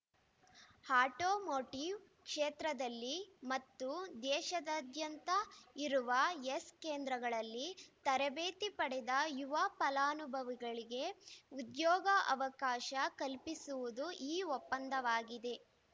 automotive ಕ್ಷೇತ್ರದಲ್ಲಿ ಮತ್ತು ದೇಶದಾದ್ಯಂತ ಇರುವ ಯೆಸ್ ಕೇಂದ್ರಗಳಲ್ಲಿ ತರಬೇತಿ ಪಡೆದ ಯುವ ಫಲಾನುಭವಿಗಳಿಗೆ ಉದ್ಯೋಗ ಅವಕಾಶ ಕಲ್ಪಿಸುವುದು ಈ ಒಪ್ಪಂದವಾಗಿದೆ